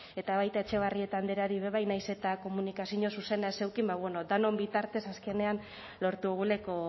eta baita etxebarrieta andreari bebai nahiz eta komunikazio zuzena ez eduki ba bueno denon bitartez azkenean lortu dugulako